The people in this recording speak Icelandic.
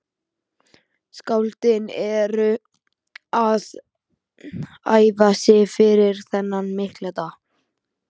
Skáldin eru að æfa sig fyrir þennan mikla dag.